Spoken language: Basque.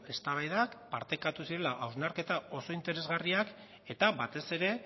eztabaidak partekatu zirela hausnarketa oso interesgarriak eta batez ere